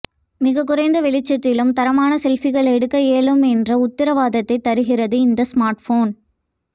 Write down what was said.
மிகக் குறைந்த வெளிச்சத்திலும் தரமான செல்ஃபிகள் எடுக்க இயலும் என்ற உத்திரவாதத்தை தருகிறது இந்த ஸ்மார்ட்போன்